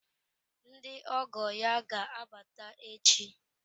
Ndị ọgọ ya ga-abata echi.